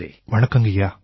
வணக்கங்கய்யா